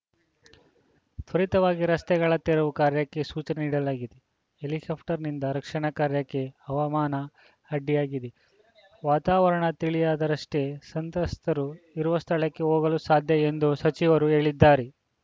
ತ್ವರಿತವಾಗಿ ರಸ್ತೆಗಳ ತೆರವು ಕಾರ್ಯಕ್ಕೆ ಸೂಚನೆ ನೀಡಲಾಗಿದೆ ಹೆಲಿಕಾಪ್ಟಕ್‌ನಿಂದ ರಕ್ಷಣಾ ಕಾರ್ಯಕ್ಕೆ ಹವಾಮಾನ ಅಡ್ಡಿಯಾಗಿದೆ ವಾತಾವರಣ ತಿಳಿಯಾದರಷ್ಟೇ ಸಂತ್ರಸ್ತರು ಇರುವ ಸ್ಥಳಕ್ಕೆ ಹೋಗಲು ಸಾಧ್ಯ ಎಂದು ಸಚಿವರು ಹೇಳಿದ್ದಾರೆ